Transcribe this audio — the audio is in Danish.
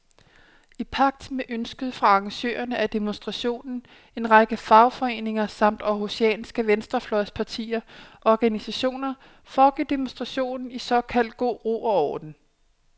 I pagt med ønsket fra arrangørerne af demonstrationen, en række fagforeninger samt århusianske venstrefløjspartier og organisationer, foregik demonstrationen i såkaldt god ro og orden.